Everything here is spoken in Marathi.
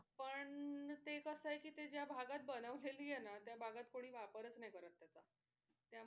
पण ते कस आहे कि ते ज्या भागात बनवली आहे ना त्या भागात कोणी वापरच करत नाही त्याचा त्यामुळे